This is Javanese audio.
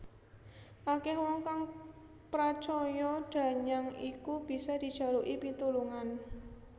Akeh wong kang pracaya danyang iku bisa dijaluki pitulungan